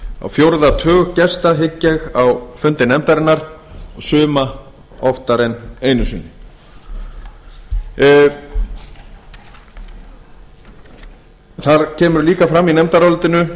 á fjórða tug gesta hygg ég á fundi nefndarinnar suma oftar einu einu sinni það kemur líka fram í nefndarálitinu